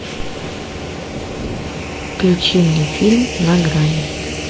включи мне фильм на грани